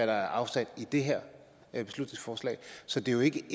der er afsat i det her beslutningsforslag så det er jo ikke